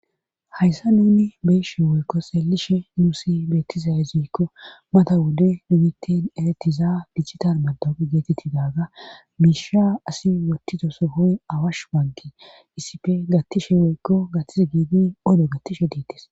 hayssa nuni beeyshe woykko selishe nuusi beettiza hezoykko mata wode numitin eretiza bijitar bado geetettidaga miisha asi wottizo sohoy awash bangi issife gattishe woykko gattise giidi odo gattishe diites